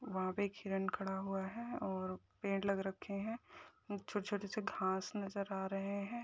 वहां पे एक हिरण खड़ा हुआ है और पेड़ लग रखे हैं छोटे छोटे से घास नज़र आ रहे हैं।